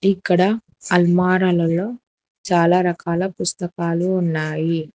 ఇక్కడ అల్మారాలలో చాలా రకాల పుస్తకాలు ఉన్నాయి.